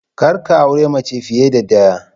Kar ka aure mace fiye da ɗaya!